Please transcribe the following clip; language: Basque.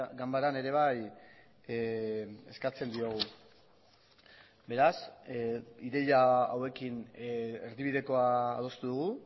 ganbaran ere bai eskatzen diogu beraz ideia hauekin erdibidekoa adostu dugu